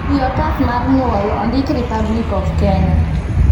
wi otas mar nyuol Ondik republic of Kenya